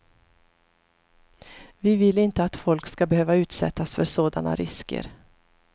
Vi vill inte att folk skall behöva utsättas för sådana risker.